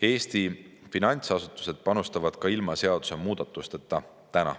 Eesti finantsasutused panustavad ka ilma seadusemuudatusteta.